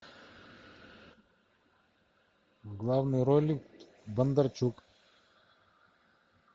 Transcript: в главной роли бондарчук